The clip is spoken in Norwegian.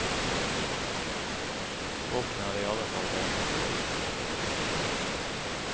Båten er i alle fall hel.